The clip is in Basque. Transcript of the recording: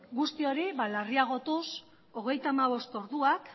guzti hori larriagotuz hogeita hamabost orduak